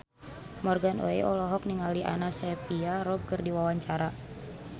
Morgan Oey olohok ningali Anna Sophia Robb keur diwawancara